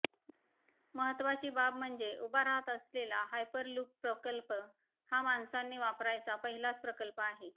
महत्त्वाची बाब म्हणजे उभा रहात असलेला हायपरलूप प्रकल्प हा माणसांनी वापरायचा पहिलाच प्रकल्प आहे